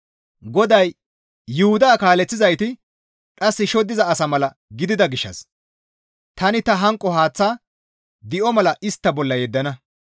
GODAY, «Yuhuda kaaleththizayti dhas shoddiza asa mala gidida gishshas tani ta hanqo haaththa di7o mala istta bolla yeddana.